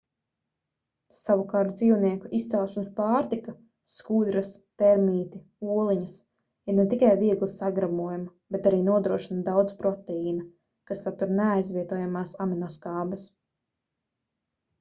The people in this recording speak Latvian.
savukārt dzīvnieku izcelsmes pārtika skudras termīti oliņas ir ne tikai viegli sagremojama ber arī nodrošina daudz proteīna kas satur neaizvietojamās aminoskābes